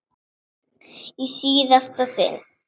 Í síðasta sinn.